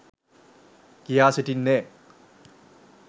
කියා සිටින්නේ.